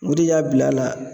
O de y'a bil'a la